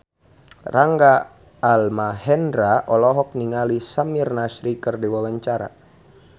Rangga Almahendra olohok ningali Samir Nasri keur diwawancara